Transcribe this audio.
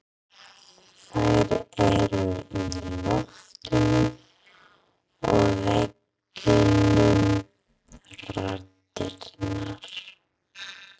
Þær eru í loftinu og veggjunum raddirnar.